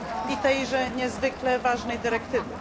i tejże niezwykle ważnej dyrektywy.